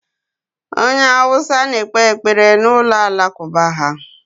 Onye Hausa na-ekpe ekpere n'ụlọ Alakụba ha.